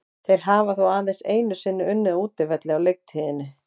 Þeir hafa þó aðeins einu sinni unnið á útivelli á leiktíðinni.